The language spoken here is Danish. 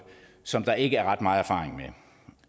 som der ikke er ret meget erfaring med